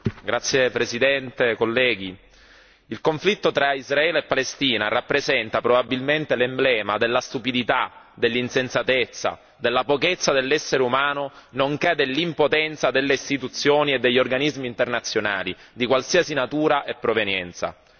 Signor Presidente, onorevoli colleghi, il conflitto tra Israele e Palestina rappresenta probabilmente l'emblema della stupidità, dell'insensatezza, della pochezza dell'essere umano, nonché dell'impotenza delle istituzioni e degli organismi internazionali di qualsiasi natura e provenienza.